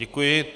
Děkuji.